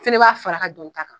Fɛnɛ b'a fara ka don ta kan